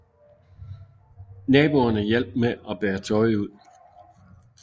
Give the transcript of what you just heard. Naboerne hjalp med bære tøj ud